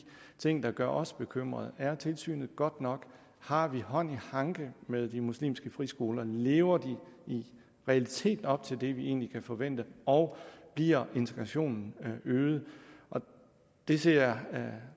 ting der gør os bekymret er tilsynet godt nok har vi hånd i hanke med de muslimske friskoler lever de i realiteten op til det vi egentlig kan forvente og bliver integrationen øget det ser